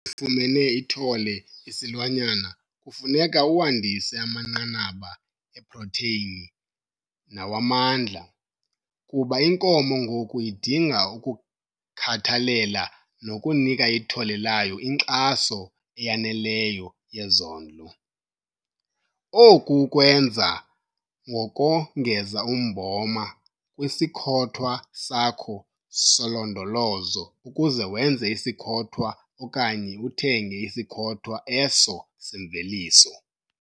Sakuba sifumene ithole isilwanyana kufuneka uwandise amanqanaba eprotheyini nawamandla, kuba inkomo ngoku idinga ukukhathalela nokunika ithole layo inkxaso eyaneleyo yezondlo. Oku ukwenza ngokongeza umboma kwisikhothwa sakho solondolozo ukuze wenze isikhothwa okanye usithenge isikhothwa eso semveliso.